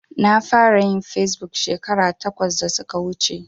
Na fara yin fesbuk shekara takwas da suka wuce.